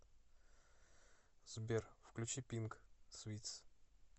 сбер включи пинк свитс